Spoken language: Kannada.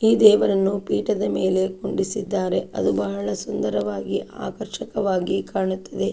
ಈ ದೇವರನ್ನು ಪೀಠದ ಮೇಲೆ ಕೂರಿಸಿದ್ದಾರೆ ಅದು ಬಹಳ ಸುಂದರವಾಗಿ ಆಕರ್ಷಕವಾಗಿ ಕಾಣುತ್ತಿದೆ.